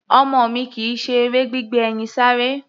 Ọmọ mi kì í ṣe eré gbígbé ẹyin sáré.